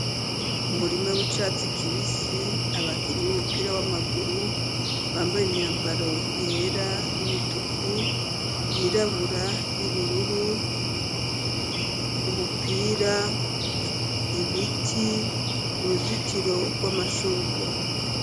Umurima w'icatsi kibisi ,abakinyi b'umupira w'amaguru bambaye imyambaro yera ,y'umutuku ,yirabura ,y'ubururu ,umupira ,ibiti ,uruzitiro rw'amashugwe.